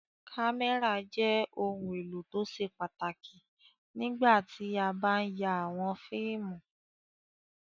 Kámẹ́rà jẹ́ ohun-èlò tó ṣe pàtàkì nígbà tí a bá ń ya àwọn fíìmù.